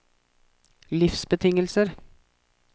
livsbetingelser